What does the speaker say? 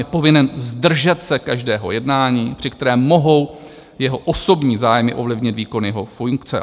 Je povinen zdržet se každého jednání, při kterém mohou jeho osobní zájmy ovlivnit výkon jeho funkce.